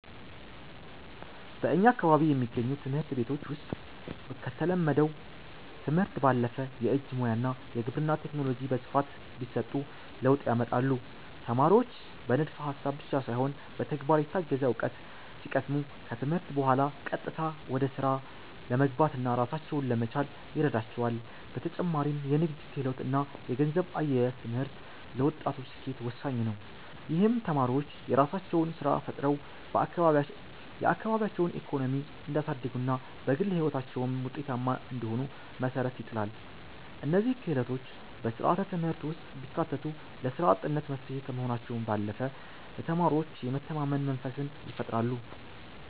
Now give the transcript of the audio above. በእኛ አካባቢ በሚገኙ ትምህርት ቤቶች ውስጥ ከተለመደው ትምህርት ባለፈ የእጅ ሙያ እና የግብርና ቴክኖሎጂ በስፋት ቢሰጡ ለውጥ ያመጣሉ። ተማሪዎች በንድፈ ሃሳብ ብቻ ሳይሆን በተግባር የታገዘ እውቀት ሲቀስሙ፣ ከትምህርት በኋላ በቀጥታ ወደ ስራ ለመግባትና ራሳቸውን ለመቻል ይረዳቸዋል። በተጨማሪም የንግድ ክህሎት እና የገንዘብ አያያዝ ትምህርት ለወጣቱ ስኬት ወሳኝ ነው። ይህም ተማሪዎች የራሳቸውን ስራ ፈጥረው የአካባቢያቸውን ኢኮኖሚ እንዲያሳድጉና በግል ህይወታቸውም ውጤታማ እንዲሆኑ መሰረት ይጥላል። እነዚህ ክህሎቶች በስርዓተ ትምህርቱ ውስጥ ቢካተቱ ለስራ አጥነት መፍትሄ ከመሆናቸው ባለፈ ለተማሪዎች የመተማመን መንፈስን ይፈጥራሉ።